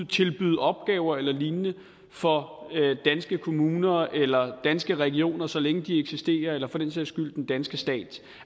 tilbyde opgaver eller lignende for danske kommuner eller danske regioner så længe de eksisterer eller for den sags skyld den danske stat